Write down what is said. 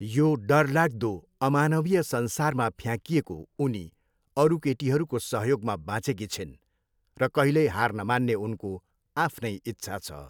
यो डरलाग्दो, अमानवीय संसारमा फ्याँकिएको, उनी अरू केटीहरूको सहयोगमा बाँचेकी छिन् र कहिल्यै हार नमान्ने उनको आफ्नै इच्छा छ।